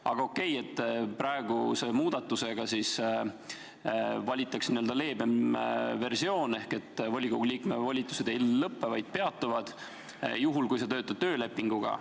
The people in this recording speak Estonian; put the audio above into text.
Aga okei, praeguse muudatusega valitakse n-ö leebem versioon, volikogu liikme volitused ei lõpe, vaid peatuvad, juhul kui töötatakse töölepingu alusel.